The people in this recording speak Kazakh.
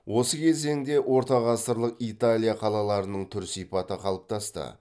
осы кезеңде ортағасырлық италия қалаларының түр сипаты қалыптасты